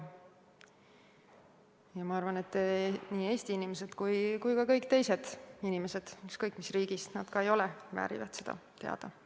Ja ma arvan, et nii Eesti inimesed kui ka kõik teised inimesed – ükskõik, mis riigist nad ka ei ole – väärivad seda teadmist.